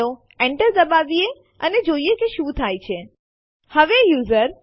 આ ટેસ્ટડિર ડિરેક્ટરીમાંથી એબીસી1 અને એબીસી2 ફાઈલો રદ કરે છે